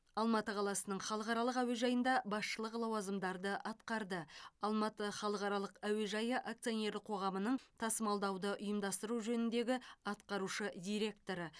алматы қаласының халықаралық әуежайында басшылық лауазымдарды атқарды алматы халықаралық әуежайы акционерлік қоғамының тасымалдауды ұйымдастыру жөніндегі атқарушы директоры